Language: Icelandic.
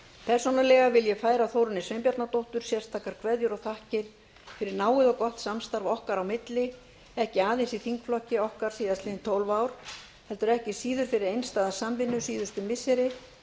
persónulega vil ég færa þórunni sveinbjarnardóttur sérstakar kveðjur og þakkir fyrir náið og gott samstarf okkar á milli ekki aðeins í þingflokki okkar síðustu tólf ár heldur ekki síður fyrir einstæða samvinnu síðustu missiri